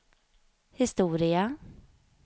historia